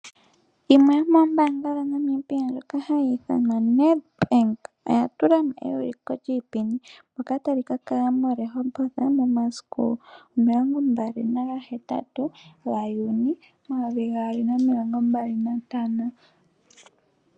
Yimwe yomoombaanga dhaNamibia ndjoka hayi ithanwa Nedbank oya tula mo euliko lyiipindi ndyoka tali ka kala moRehoboth momasiku omilongo mbali nagahetatu gaJuni omayovi gaali nomilongo mbali nantano.